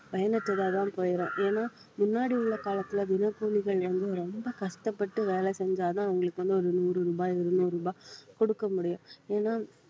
பயனற்றதாதான் போயிடும் ஏன்னா முன்னாடி உள்ள காலத்துல தினக்கூலிகள் வந்து ரொம்ப கஷ்டப்பட்டு வேலை செஞ்சாதான் அவங்களுக்கு வந்து ஒரு நூறு ரூபாய் இருநூறு ரூபாய் கொடுக்க முடியும் ஏன்னா